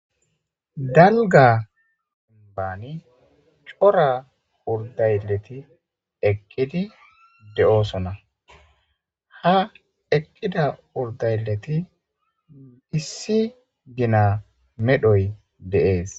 Dalga ambani cora urdayleti eqqidi de'oosona ha eqqida urdayleti issi gina medhoy deees.